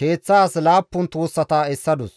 keeththas laappun tuussata essadus.